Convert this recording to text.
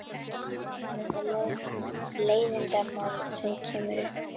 Hvað viltu segja um þetta leiðindamál sem kemur upp?